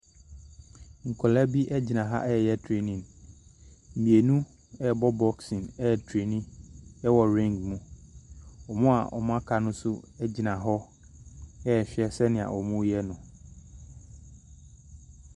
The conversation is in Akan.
Nkɔla bi egyina ha ɛyɛ trenin. Mmienu ɛbɔ bosin ɛtreni ɛwɔ reng mu. Ɔmo a wɔnmmo aka nso egyina hɔ ɛhwɛ sɛnea wɔnmmo ɛyɛ no.